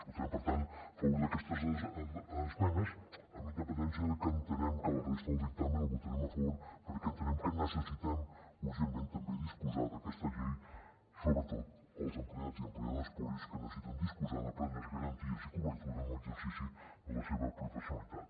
votarem per tant a favor d’aquestes esmenes amb independència de que entenem que la resta del dictamen la votarem a favor perquè entenem que necessitem urgentment també disposar d’aquesta llei sobretot els empleats i empleades públics que necessiten disposar de plenes garanties i cobertura en l’exercici de la seva professionalitat